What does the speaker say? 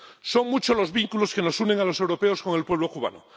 Son muchos los vínculos que nos unen a los europeos con el pueblo cubano.